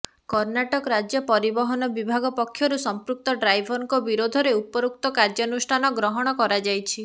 କର୍ଣ୍ଣାଟକା ରାଜ୍ୟ ପରିବହନ ବିଭାଗ ପକ୍ଷରୁ ସମ୍ପୃକ୍ତ ଡ୍ରାଇଭରଙ୍କ ବିରୋଧରେ ଉପରୋକ୍ତ କାର୍ଯ୍ୟାନୁଷ୍ଠାନ ଗ୍ରହଣ କରାଯାଇଛି